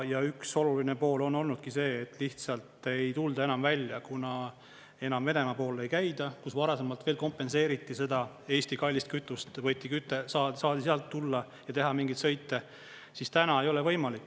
Ja üks oluline pool on olnudki see, et lihtsalt ei tulda enam välja, kuna enam Venemaa poole ei käida, kus varasemalt kompenseeriti seda Eesti kallist kütust, võeti küte, saadi sealt tulla ja teha mingeid sõita, siis täna ei ole võimalik.